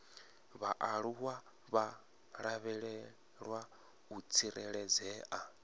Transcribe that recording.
vhaaluwa vha lavhelwa u tsireledzea